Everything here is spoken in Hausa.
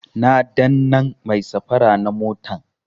Na dannan mai safara na motan